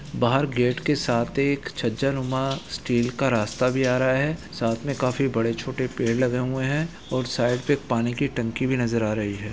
बाहर गेट के साथ एक छज्जानुमा स्टील का रास्ता भी आ रहा है साथ में काफी बड़े-छोटे पेड़ लगे हुए हैं और साइड पे एक पानी की टंकी भी नजर आ रही है।